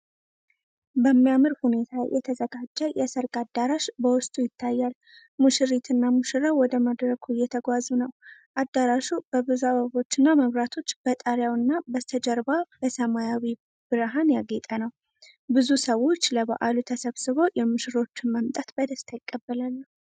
በሚያምር ሁኔታ የተዘጋጀ የሰርግ አዳራሽ በውስጡ ይታያል። ሙሽሪትና ሙሽራው ወደ መድረኩ እየተጓዙ ነው። አዳራሹ በብዙ አበቦችና መብራቶች በጣሪያው እና በስተጀርባ በሰማያዊ ብርሃን ያጌጠ ነው። ብዙ ሰዎች ለበዓሉ ተሰብስበው የሙሽሮችን መምጣት በደስታ ይቀበላሉ።